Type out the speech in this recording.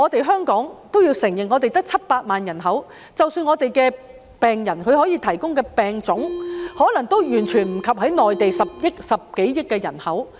香港也要承認，我們只有700萬人口，即使我們的病人可以提供病例，也可能完全及不上內地10多億人口。